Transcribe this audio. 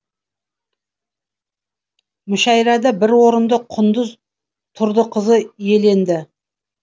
мүшәйрада бір орынды құндыз тұрдықызы иеленді